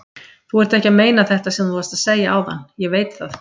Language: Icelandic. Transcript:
Þú ert ekki að meina þetta sem þú varst að segja áðan, ég veit það.